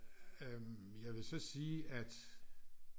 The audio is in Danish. Øh jeg vil så sige at